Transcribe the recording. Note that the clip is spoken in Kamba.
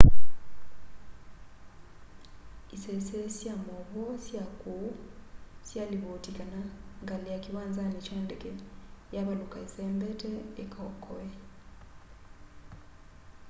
isese sya mauvoo sya kuu syalivoti kana ngali ya kiwanzani kya ndeke yavaluka isembete ikaokoe